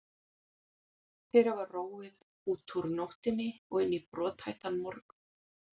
Þeir hafa róið út úr nóttinni og inn í brothættan morgun.